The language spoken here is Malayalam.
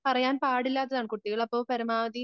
പറയാൻ പാടില്ലാത്തതാണ് കുട്ടികള് അപ്പോ പരമാവധി